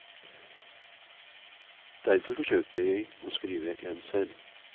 Derfor forsøkte jeg å skrive en selv.